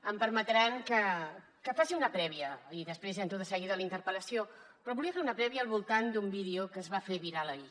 em permetran que faci una prèvia i després ja entro de seguida a la interpel·lació però volia fer una prèvia al voltant d’un vídeo que es va fer viral ahir